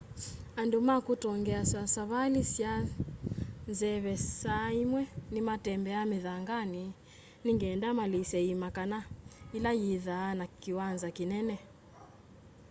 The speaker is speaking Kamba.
andũ ma kũtongeasya savalĩ sya nzeve saa ĩmwe nĩmatembea mĩthanganĩ nĩngenda malĩse ĩĩma kana ĩla yĩthaa na kĩwanza kĩnene